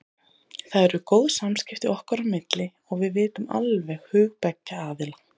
Það eru góð samskipti okkar á milli og við vitum alveg hug beggja aðila.